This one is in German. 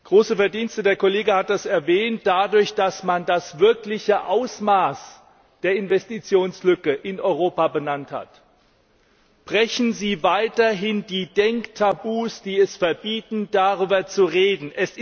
Große Verdienste, der Kollege hat das erwähnt, dadurch, dass man das wirkliche Ausmaß der Investitionslücke in Europa benannt hat. Brechen Sie weiterhin die Denktabus, die es verbieten, darüber zu reden.